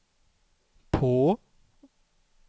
på